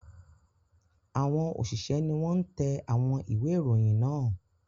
Àwọn òṣìṣẹ́ ni wọ́n ń tẹ àwọn ìwé-ìròyìn náà.